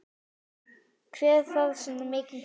Hver þarf svona mikinn pening?